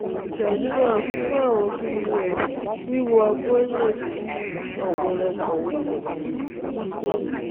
Ìtọ́jú náà ní fífọ àwọn pus, wíwọ ọgbẹ́